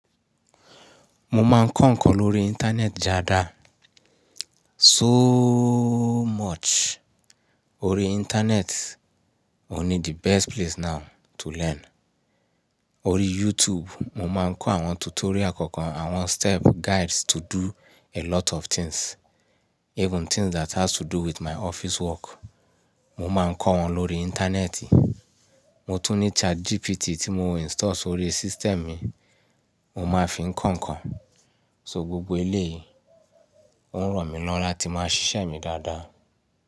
Mo máa ń kọ ǹkan lórí ìntanẹ́ẹ̀tì dáadáa. So much. Orí ìntanẹ́ẹ̀tì òní the best place now to learn. Orí YouTube mo máa ń kọ àwọn tutorial kọ̀ọ̀kan, àwọn step guides to do a lot of things. Even things that has to do with my office work. Mo máa ń kọ́ wọn lórí ìntanẹ́ẹ̀tì. Mo tún ní ChatGPT tí mo install sórí system mi, mo máa fi ń kọ ǹkan. So gbogbo eléyìí ó ń ràn mí lọ́wọ́ láti máa ṣiṣẹ́ mi dáadáa.